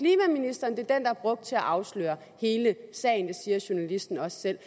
er er brugt til at afsløre hele sagen det siger journalisten også selv